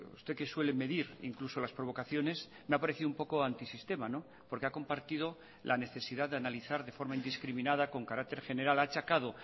usted que suele medir incluso las provocaciones me ha parecido un poco antisistema porque ha compartido la necesidad de analizar de forma indiscriminada con carácter general ha achacado